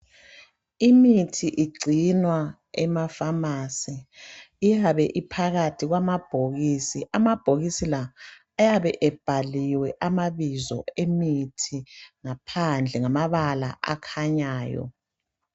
Imithi igcinwa emafasi. Iyabe iphakathi kwamabhokisi. Amabhokisi la ayabe ebhaliwe amabizo emithi ngaphandle ngamabala akhanyayo.